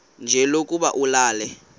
nje lokuba ulale